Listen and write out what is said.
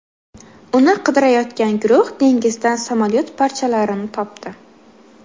Uni qidirayotgan guruh dengizdan samolyot parchalarini topdi.